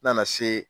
N nana se